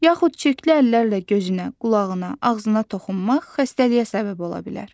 Yaxud çirkli əllərlə gözünə, qulağına, ağzına toxunmaq xəstəliyə səbəb ola bilər.